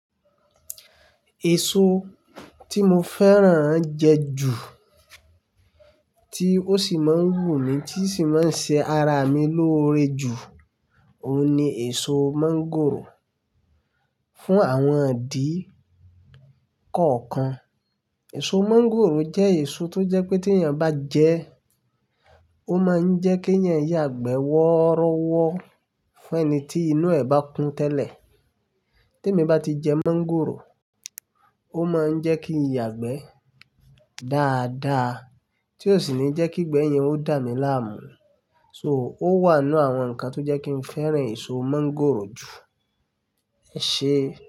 Èso tí mo fẹ́ràn jẹ ju, tí ó sì máa ń wù mí, tí sì máa ń ṣe ara mi lóore jù, òun ni èso mọ́ngòrò. Fún àwọn idi kọ̀ọ̀kan, èso mọ́ngòrò jẹ́ èso tó jẹ́ pé tí èèyàn bá jẹ ẹ́, ó máa ń jẹ́ kí èèyàn yagbe wọ́ọrọ́wọ́ fún ẹni tí inú ẹ bá kún tẹ́lẹ̀. Tí èmi bá ti jẹ mọ́ngòrò, ó máa ń jẹ́ kí n yagbẹ dáadáa tí ó sì ní jẹ́ kí igbẹ yẹn o dà mí láàmú. So, ó wà nínú àwọn nǹkan tó jẹ́ kí n fẹ́ràn èso mọ́ngòrò jù. Ẹ ṣe.